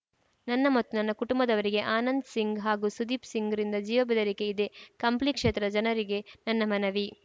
ನನ್ನ ಮತ್ತು ನನ್ನ ಕುಟುಂಬದವರಿಗೆ ಆನಂದ್‌ ಸಿಂಗ್‌ ಹಾಗೂ ಸುದೀಪ್‌ ಸಿಂಗ್‌ರಿಂದ ಜೀವ ಬೆದರಿಕೆ ಇದೆ ಕಂಪ್ಲಿ ಕ್ಷೇತ್ರದ ಜನರಿಗೆ ನನ್ನ ಮನವಿ